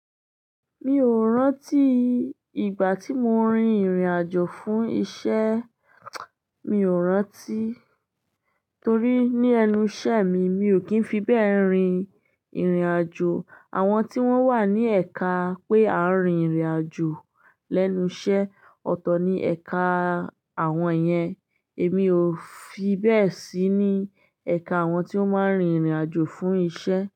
Mi ò rántí ìgbà tí mo rin ìrìnàjò fún iṣẹ́, mi ò rántí torí ní ẹnu iṣẹ́ mi mi ò kí ń fi bẹ́ẹ̀ rin ìrìnàjò. Àwọn tí wọ́n wà ní ẹ̀ka pé a ń rin ìrìnàjò lẹ́nu iṣẹ́, ọ̀tọ̀ ni ẹ̀ka àwọn yẹn. Èmi ò fi bẹ́ẹ̀ sí ní ẹ̀ka àwọn tí ó máa ń rin ìrìnàjò fún iṣẹ́